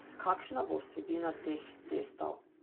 Kakšna bo vsebina teh testov?